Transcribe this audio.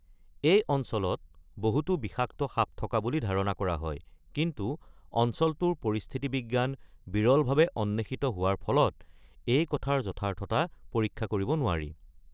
এই অঞ্চলত বহুতো বিষাক্ত সাপ থকা বুলি ধাৰণা কৰা হয়, কিন্তু অঞ্চলটোৰ পৰিস্থিতিবিজ্ঞান বিৰলভাৱে অন্বেষিত হোৱাৰ ফলত এই কথাৰ যথাৰ্থতা পৰীক্ষা কৰিব নোৱাৰি।